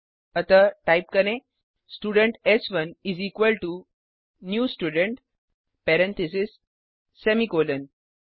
अतः टाइप करें स्टूडेंट एस1 is equal to new student parentheses semicolon